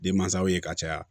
Denmansaw ye ka caya